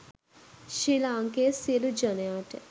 ශ්‍රී ලාංකේය සියලු ජනයාට